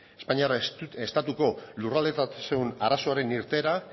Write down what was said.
espainiar estatuko lurraldetasun arazoaren irteera